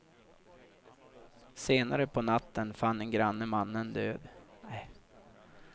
Senare på natten fann en granne mannen död.